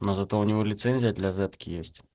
но зато у него лицензия для зэтки есть